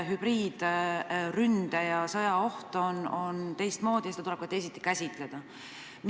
Hübriidründe- ja -sõjaoht on teistsugune ja seda tuleb ka teisiti käsitleda.